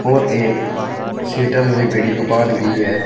और एक शटर से बड़ी दुकान भी है।